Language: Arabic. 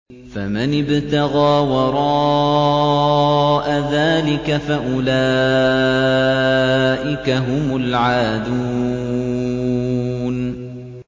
فَمَنِ ابْتَغَىٰ وَرَاءَ ذَٰلِكَ فَأُولَٰئِكَ هُمُ الْعَادُونَ